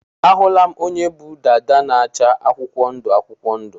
A hụla m onye bụ dàdá na-acha akwụkwọ ndụ akwụkwọ ndụ.